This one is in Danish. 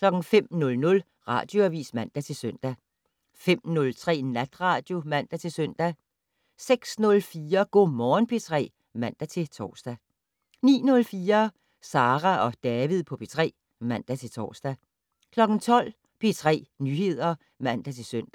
05:00: Radioavis (man-søn) 05:03: Natradio (man-søn) 06:04: Go' Morgen P3 (man-tor) 09:04: Sara og David på P3 (man-tor) 12:00: P3 Nyheder (man-søn)